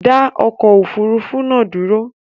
Dá okò òfurufú nàá dúró